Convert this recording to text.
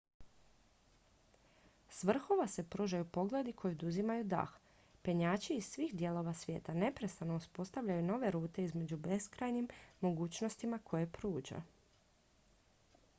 s vrhova se pružaju pogledi koji oduzimaju dah penjači iz svih dijelova svijeta neprestano uspostavljaju nove rute među beskrajnim mogućnostima koje pruža